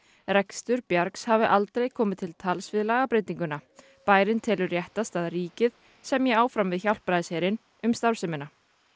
rekstur bjargs hafi aldrei komið til tals við lagabreytinguna bærinn telur réttast að ríkið semji áfram við Hjálpræðisherinn um starfsemina